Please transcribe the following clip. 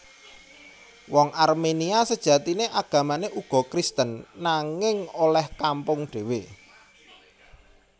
Wong Arménia sajatiné agamané uga Kristen nanging olèh kampung dhéwé